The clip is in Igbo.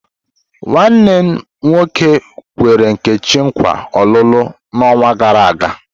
Nwanne m nwoke nkwere Nkechi nkwa olulu n'ọnwa gara aga.